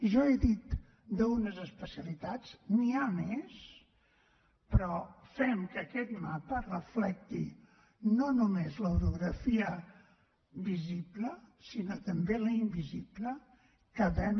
jo he dit d’unes especialitats n’hi ha més però fem que aquest mapa reflecteixi no només l’orografia visible sinó també la invisible que vam